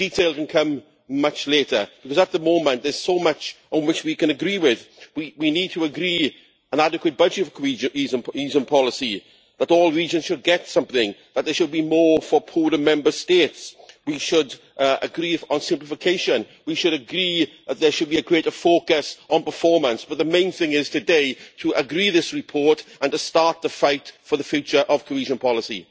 Detail can come much later, because at the moment there is so much on which we can agree with, we need to agree an adequate budget cohesion policy, that all regions should get something, that there should be more for poorer Member States. We should agree on simplification, we should agree that there should be a greater focus on performance, but the main thing today is to agree this report and to start the fight for the future of cohesion policy.